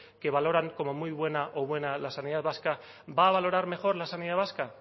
que valoran como muy buena o buena la sanidad vasca va a valorar mejor la sanidad vasca